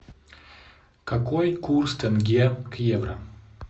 какой курс тенге к евро